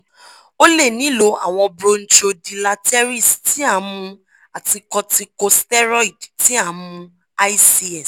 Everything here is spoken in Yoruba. o le nilo awọn bronchodilateres ti a n mu ati corticosteroid ti a n mu ics